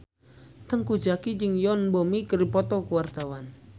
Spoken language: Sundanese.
Teuku Zacky jeung Yoon Bomi keur dipoto ku wartawan